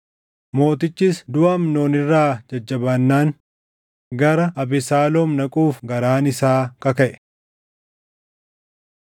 Mootichis duʼa Amnoon irraa jajjabaannaan gara Abesaaloom dhaquuf garaan isaa kakaʼe.